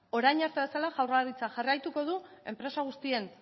orain arte bezela jaurlaritzak jarraituko du enpresa guztien